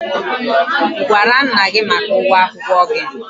Ị gwara nna gị maka ụgwọ akwụkwọ gị?